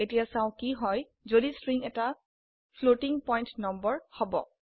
এতিয়া চাও কি হয় যদি স্ট্ৰিং এটা ফ্লোটিং পয়েন্ট নম্বৰ হব